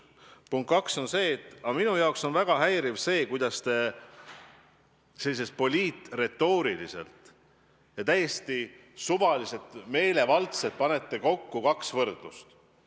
Punkt kaks on see, et minu jaoks on väga häiriv, kuidas te poliitretooriliselt ja täiesti suvaliselt, meelevaldselt panete kokku kaks võrdlust.